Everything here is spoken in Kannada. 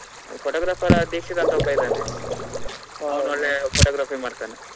Photographer ದೀಕ್ಷಿತ್ ಅಂತ ಒಬ್ಬ ಇದ್ದಾನೆ ಅವನು ಒಳ್ಳೆ photography ಮಾಡ್ತಾನೆ.